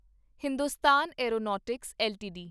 Hindustan aeronautics LTD